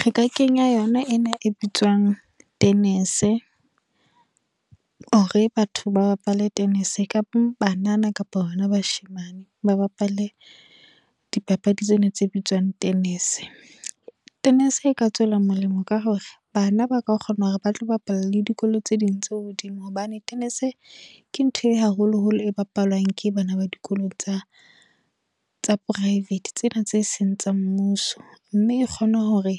Re ka kenya yona ena e bitswang tennis. Hore batho ba bapale tennis, kapa banana kapa hona bashemane ba bapale di papadi tsena tse bitswang tennis. Tennis e ka tswela molemo ka hore, bana ba ka kgona hore ba tlo bapala le dikolo tse ding tse hodimo. Hobane tennis ke ntho e haholo holo e bapalwang ke bana ba dikolong tsa tsa private, tsena tse seng tsa mmuso. Mme e kgona hore